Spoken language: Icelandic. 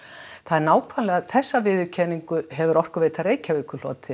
nákvæmlega þessa viðurkenningu hefur Orkuveita Reykjavíkur hlotið